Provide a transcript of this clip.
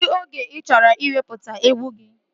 Kedụ oge ị chọrọ iwepụta egwu gị?